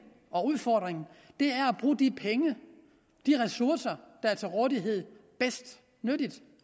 og udfordringen er at bruge de penge de ressourcer der er til rådighed bedst